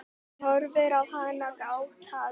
Hann horfir á hana gáttaður.